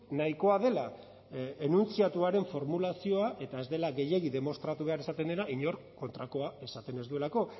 nahikoa dela enuntziatuaren formulazioa eta ez dela gehiegi demostratu behar esaten dena inork kontrakoa esaten ez duelako